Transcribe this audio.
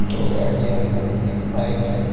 दो गाड़ियां हैं एक बाइक है।